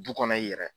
Du kɔnɔ i yɛrɛ